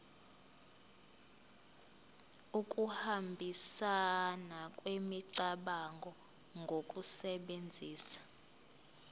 ukuhambisana kwemicabango ngokusebenzisa